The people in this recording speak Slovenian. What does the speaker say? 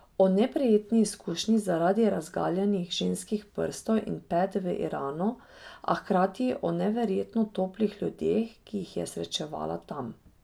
O neprijetni izkušnji zaradi razgaljenih ženskih prstov in pet v Iranu, a hkrati o neverjetno toplih ljudeh, ki jih je srečevala tam.